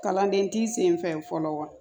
Kalanden t'i sen fɛ fɔlɔ wa